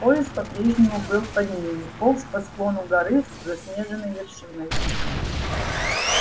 поезд по-прежнему был под ними полз по склону горы с заснеженной вершиной